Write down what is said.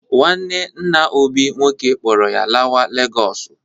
Nwanne nna Obi nwoke kpọrọ ya lawa Legọsụ.